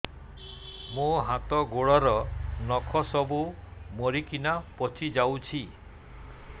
ମୋ ହାତ ଗୋଡର ନଖ ସବୁ ମରିକିନା ପଚି ଯାଉଛି